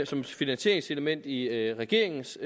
som et finansieringselement i i regeringens